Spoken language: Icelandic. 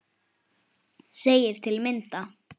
segir til að mynda